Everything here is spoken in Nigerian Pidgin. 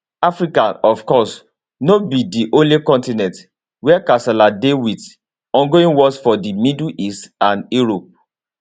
africa of course no be di only continent wia kasala dey wit ongoing wars for di middle east and europe